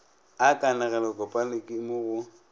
a kanegelokopana ke mo go